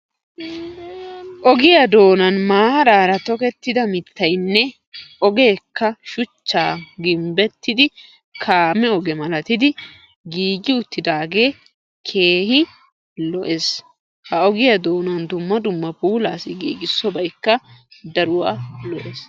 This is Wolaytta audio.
Ogiyaa doonan maarara tokettida mittaynne ogeekka shuchcha gimbbettid kaame oge milatidi giigidi uttidaagee keehi lo"ees. Ha ogiyaa doonani dumma dumma puulasi giigissobaykka daruwaa lo"ees.